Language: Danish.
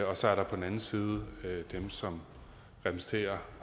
og så er der på den anden side dem som repræsenterer